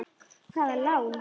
Hvaða lán?